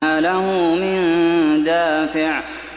مَّا لَهُ مِن دَافِعٍ